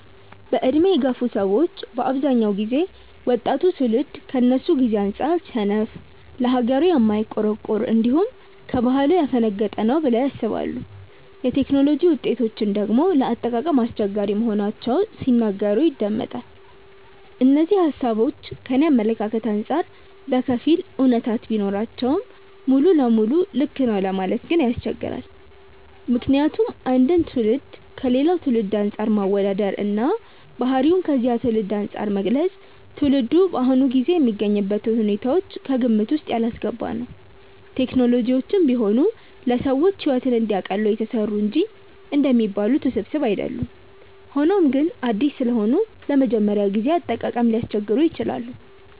በዕድሜ የገፉ ሰዎች በአብዛኛው ጊዜ ወጣቱ ትውልድ ከነሱ ጊዜ አንጻር ሰነፍ፣ ለሀገሩ የማይቆረቆር፣ እንዲሁም ከባህሉ ያፈነገጠ ነው ብለው ያስባሉ። የቴክኖሎጂ ውጤቶችን ደግሞ ለአጠቃቀም አስቸጋሪ መሆናቸውን ሲናገሩ ይደመጣል። እነዚህ ሃሳቦች ከኔ አመለካከት አንጻር በከፊል አውነታነት ቢኖራቸውም ሙሉ ለሙሉ ልክ ነው ለማለት ግን ያስቸግራል። ምክንያቱም አንድን ትውልድ ከሌላ ትውልድ አንፃር ማወዳደር እና ባህሪውን ከዚያ ትውልድ አንፃር መግለጽ ትውልዱ በአሁኑ ጊዜ የሚገኝበትን ሁኔታዎች ከግምት ውስጥ ያላስገባ ነው። ቴክኖሎጂዎችም ቢሆኑ ለሰዎች ሕይወትን እንዲያቀሉ የተሰሩ እንጂ እንደሚባሉት ውስብስብ አይደሉም። ሆኖም ግን አዲስ ስለሆኑ ለመጀመሪያ ጊዜ አጠቃቀም ሊያስቸግሩ ይችላሉ።